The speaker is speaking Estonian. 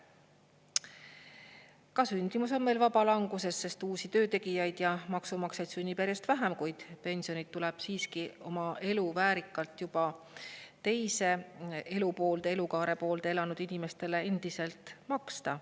Ka sündimus on meil vabalanguses, sest uusi töötegijaid ja maksumaksjaid sünnib järjest vähem, kuid pensionit tuleb siiski oma elu väärikalt juba teise elukaare poolde elanud inimestele endiselt maksta.